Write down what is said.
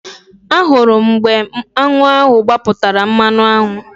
Ahụrụ m mgbe aṅụ ahụ gbapụtara mmanụaṅụ